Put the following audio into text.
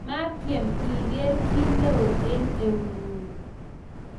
Metyem igeer kiy neo eng eungung